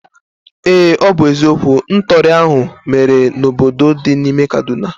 Ee, ọ bụ eziokwu. Ntọri ahụ mere n'obodo dị n'ime kaduna